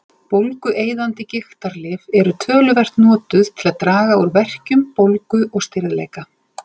Bólgueyðandi gigtarlyf eru töluvert notuð til að draga úr verkjum, bólgu og stirðleika.